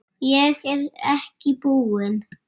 Ég er ekki búinn.